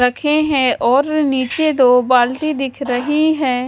रखे हैं और नीचे दो बाल्टी दिख रही है।